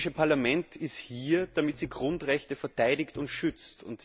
Das Europäische Parlament ist hier, damit es Grundrechte verteidigt und schützt.